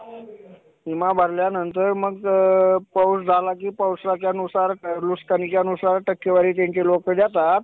तसं तसं आह नंतर वेगवेगळ्या माध्यमांचा Digital माध्यमांचा शोध लागला आणि त्या पद्धतीने मनोरंजन होत राहिलाच म्हणजेच नंतर काय झालं की आह ज्यावेळेस टीव्ही चा शोध आला